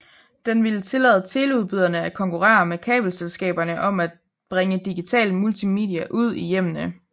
Den ville tillade teleudbyderne at konkurrere med kabelselskaberne om at bringe digital multimedia ud i hjemmene